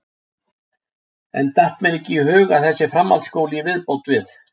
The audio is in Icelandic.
Enn datt mér ekki í hug að þessi framhaldsskóli í viðbót við